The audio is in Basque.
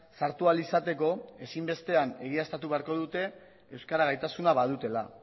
sartu ahal izateko ezinbestean egiaztatu beharko dute euskara gaitasuna badutela